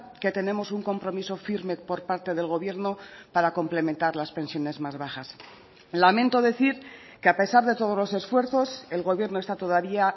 que tenemos un compromiso firme por parte del gobierno para complementar las pensiones más bajas lamento decir que a pesar de todos los esfuerzos el gobierno está todavía